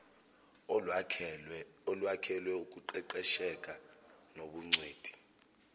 olwakhelwe ukuqeqesheka nobungcweti